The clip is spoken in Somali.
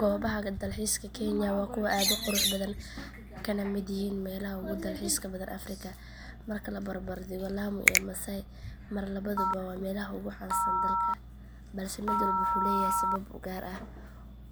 Goobaha dalxiiska kenya waa kuwo aad u qurux badan kana mid yihiin meelaha ugu dalxiis badan afrika marka la barbar dhigo lamu iyo maasai mara labaduba waa meelaha ugu caansan dalka balse mid walba wuxuu leeyahay sabab u gaar ah